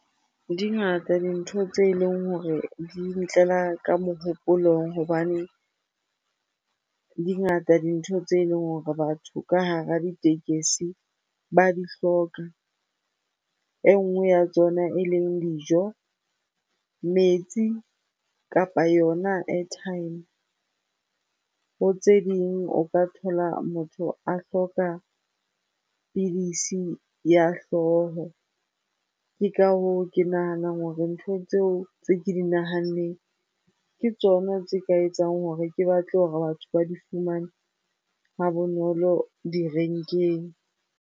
Di ngata dintho tse leng hore di ntlela ka mohopolong hobane di ngata dintho tse leng hore batho ka hara ditekesi ba di hloka. E nngwe ya tsona e leng dijo, metsi kapa yona airtime. Bo tse ding o ka thola motho a hloka pidisi ya hlooho. Ke ka hoo ke nahanang hore ntho tseo tse ke di nahanneng, ke tsona tse ka etsang hore ke batle hore batho ba di fumane ha bonolo direnkeng.